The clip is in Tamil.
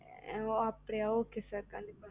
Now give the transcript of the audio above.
ஆஹ் அப்படியா okay sir கண்டிப்பா